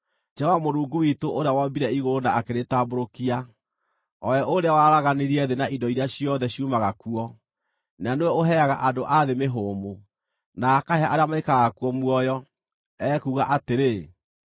Jehova, Mũrungu witũ, ũrĩa wombire igũrũ na akĩrĩtambũrũkia, o we ũrĩa waraganirie thĩ na indo iria ciothe ciumaga kuo, na nĩwe ũheaga andũ a thĩ mĩhũmũ, na akahe arĩa maikaraga kuo muoyo, ekuuga atĩrĩ: